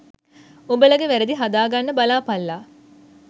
උඹලගෙ වැරදි හදා ගන්න බලාපල්ලා